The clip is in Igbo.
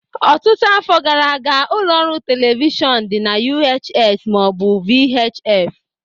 Ọtụtụ afọ gara aga, ụlọ ọrụ telivishọn dị na UHS ma ọ bụ VHF